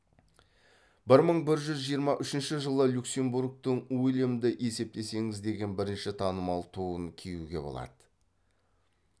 бір мың бір жүз жиырма үшінші жылы люксембургтың уильямды есептесеңіз деген бірінші танымал туын киюге болады